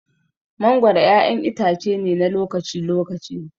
Mangoro ƴaƴan itace ne na lokaci-lokaci.